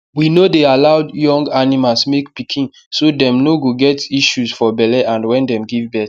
we no dey aloud young animals make pikinso dem no go get issues for belle and wen dem give birth